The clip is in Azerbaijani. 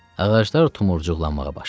Ağaclar tumurcuqlanmağa başladı.